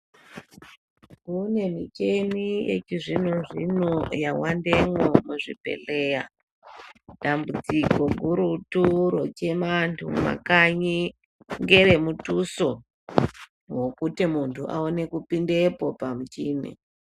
Kune micheni yechizvino-zvino yavandemwo muzvibhedhleya. Dambudziko gurutu rochema antu mumakanyi ngere mutuso, vokuti muntu aone kupindepo pamuchini.